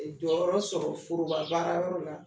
Ɛ Jɔyɔrɔ sɔrɔ forobabaarayɔrɔ la